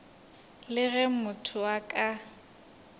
le ge motho a ka